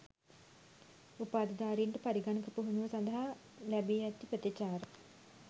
උපාධිධාරීන්ට පරිගණක පුහුණුව සඳහා ලැබී ඇති ප්‍රතිචාර